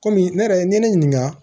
Kɔmi ne yɛrɛ n ye ne ɲininka